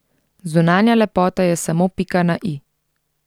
Zunanja lepota je samo pika na i.